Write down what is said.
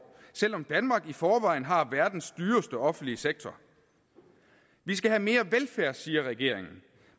selv om danmark i forvejen har verdens dyreste offentlige sektor vi skal have mere velfærd siger regeringen